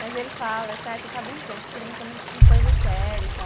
Mas ele fala, ai você está brincando, você fica brincando com coisa séria e tal.